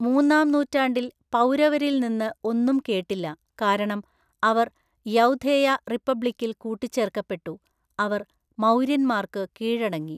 മൂന്നാം നൂറ്റാണ്ടിൽ പൗരവരിൽ നിന്ന് ഒന്നും കേട്ടില്ല, കാരണം അവർ യൗധേയ റിപ്പബ്ലിക്കിൽ കൂട്ടിച്ചേർക്കപ്പെട്ടു, അവർ മൗര്യന്മാർക്ക് കീഴടങ്ങി.